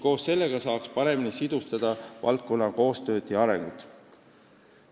Koos sellega saaks paremini sidustada valdkonna koostööd ja arengut.